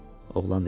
Oğlan dedi.